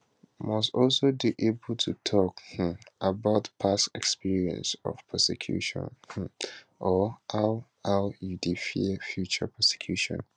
must also dey able to tok um about past experience of persecution um or how how you dey fear future persecution